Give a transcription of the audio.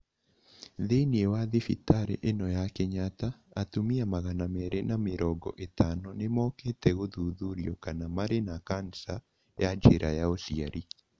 Thĩinĩ wa thibitarĩ ĩno ya Kenyatta, atumia magana meerĩ na mĩrongo ĩtano nĩ mokĩte gũthuthurio kana nĩ marĩ na kanica ya njĩra ya uciari.